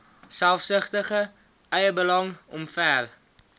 selfsugtige eiebelang omver